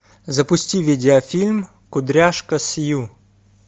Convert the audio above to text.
запусти видеофильм кудряшка сью